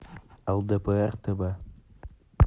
лдпр тв